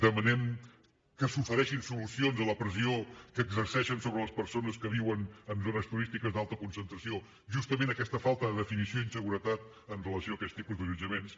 demanem que s’ofereixin solucions a la pressió que exerceixen sobre les persones que viuen en zones turístiques d’alta concentració justament aquesta falta de definició i inseguretat amb relació a aquest tipus d’allotjaments